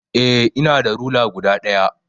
Eh ina da rula guda daya.